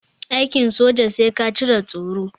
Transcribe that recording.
Aikin soja sai ka cire tsoro.